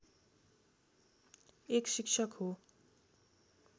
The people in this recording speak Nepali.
एक शिक्षक हो